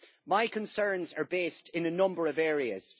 My concerns are based in a number of areas.